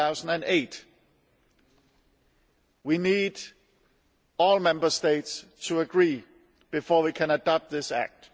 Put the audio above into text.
2008. We need all Member States to agree before we can adopt this act.